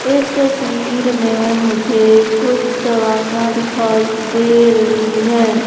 इस तस्वीर में मुझे कुछ दवाइयां दिखाई दे रही है।